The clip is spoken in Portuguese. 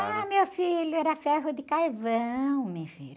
Ah, meu filho, era ferro de carvão, meu filho.